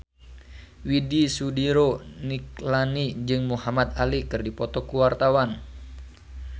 Widy Soediro Nichlany jeung Muhamad Ali keur dipoto ku wartawan